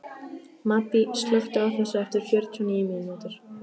Maddý, slökktu á þessu eftir fjörutíu og níu mínútur.